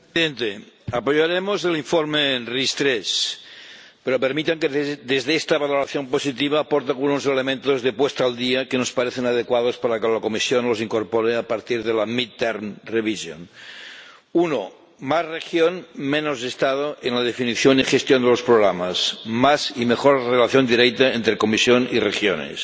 Señor Presidente, apoyaremos el informe sobre las RIS3, pero permitan que, desde esta valoración positiva, aporte algunos elementos de puesta al día que nos parecen adecuados para que la Comisión los incorpore a partir de la revisión intermedia. Uno más región, menos Estado, en la definición y gestión de los programas, más y mejor relación directa entre Comisión y regiones.